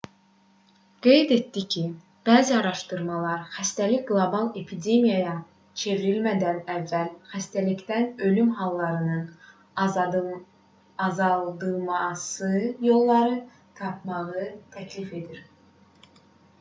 qeyd etdi ki bəzi araşdımalar xəstəlik qlobal epidemiyaya çevrilmədən əvvəl xəstəlikdən ölüm hallarının azaldılması yollarını tapmağı təklif edir